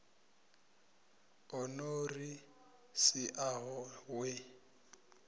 o no ri siaho we